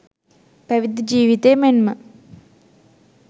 පැවිදි ජීවිතය මෙන්ම